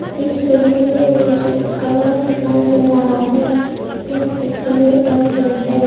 इस तस्वीर में मुझे एक कमरा दिखाई दे रहा है जो की सभी रंग में है।